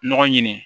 Ɲɔgɔn ɲini